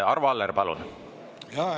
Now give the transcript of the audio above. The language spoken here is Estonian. Arvo Aller, palun!